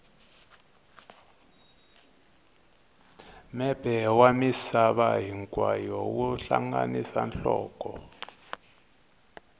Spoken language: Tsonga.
mepe wa misava hinkwayo wu hlanganisa nhloko